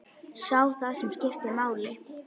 Sá það sem skipti máli.